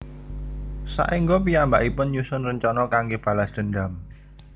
Saéngga piyambakipun nyusun rencana kanggé balas dendam